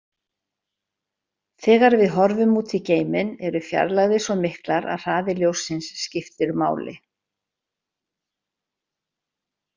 Þegar við horfum út í geiminn eru fjarlægðir svo miklar að hraði ljóssins skiptir máli.